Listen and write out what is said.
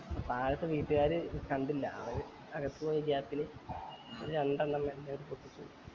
താഴത്തെ വീട്ട്കാര് ഇത് കണ്ടില്ല അവര് അകത്ത് പോയ gap ല് രണ്ടെണ്ണം മെലാനി പൊട്ടിച്ചു